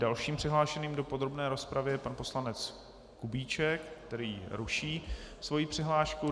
Dalším přihlášeným do podrobné rozpravy je pan poslanec Kubíček, který ruší svoji přihlášku.